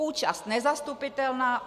"Účast nezastupitelná.